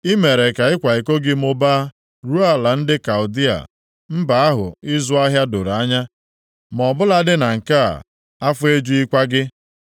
I mere ka ịkwa iko gị mụbaa ruo ala ndị Kaldịa, mba ahụ ịzụ ahịa doro anya. Ma ọbụladị na nke a afọ ejughịkwa gị.